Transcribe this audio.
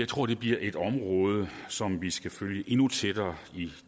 tror det bliver et område som vi skal følge endnu tættere